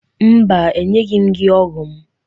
Mba, enyeghi m gị ọgụ m.